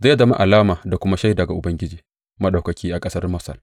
Zai zama alama da kuma shaida ga Ubangiji Maɗaukaki a ƙasar Masar.